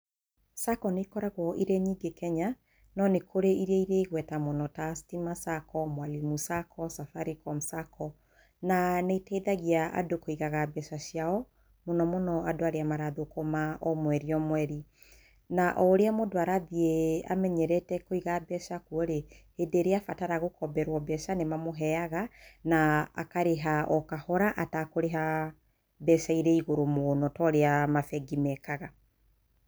Sacco nĩikoragwo irĩ nyingĩ Kenya, no nĩkũri iria irĩ igweta mũno ta Stima Sacco, Mwalimu Sacco, Safaricom Sacco na nĩiteithagia andũ kũigaga mbeca ciao mũno mũno andũ arĩa marathũkũma omweri omweri. Na ũrĩa mũndũa rathiĩ amenyerete kũiga mbeca kũo rĩ hĩndĩ ĩrĩa arabatara gũkomberwa mbeca nĩmamũheaga na uhh akarĩha okahora atakũrĩha mbeca irĩ igũrũ mũno torĩa mabengi mekaga.